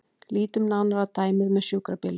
Lítum nánar á dæmið með sjúkrabílinn.